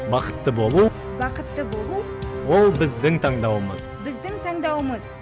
бақытты болу бақытты болу ол біздің таңдауымыз біздің таңдауымыз